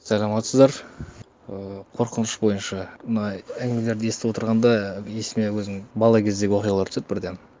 саламатсыздар ыыы қорқыныш бойынша мындай әңгімелерді естіп отырғанда есіме өзімнің бала кездегі оқиғалар түседі бірден